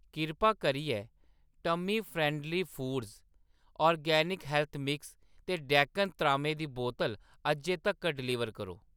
किरपा करियै tummy friendly foods जैविक हैलथ मिक्स ते डेकन त्रामे दी बोतल अज्जै तक्कर डलीवर करो।